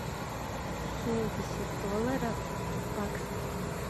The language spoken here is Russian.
семьдесят долларов в баксах